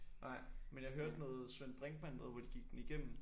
Nej men jeg hørte noget Svend Brinkmann noget hvor de gik den igennem